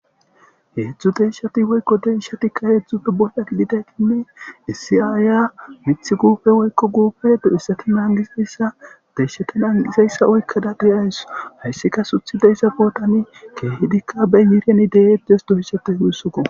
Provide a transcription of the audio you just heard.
Heedzdzu te ishati woykko deishatikka heedzdzupfe bohya kiditeykinne issi aaya mithi guufe woykko guufe do7issati nangisayssa deyshati naangizayssa oykkada diyaysso hayssika suthi de isa pootani keehidikka bey yiirianide7edes doyshate huhyssuo.